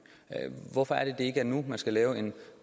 hvorfor er det ikke er nu at man skal lave en